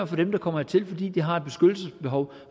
for dem der kommer hertil fordi de har et beskyttelsesbehov